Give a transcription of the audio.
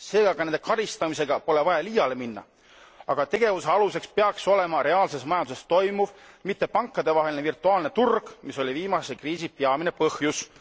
Seega ei ole vaja nende karistamisega liiale minna, aga tegevuse aluseks peaks olema reaalses majanduses toimuv, mitte pankadevaheline virtuaalne turg, mis oli viimase kriisi peamine põhjus.